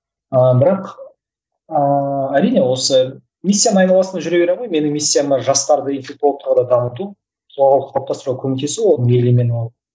ыыы бірақ ыыы әрине осы миссияның айналасында жүре беремін ғой менің миссияма жастарды интелектуалды тұрғыда дамыту қоғамға қалыптастыруға қөмектесу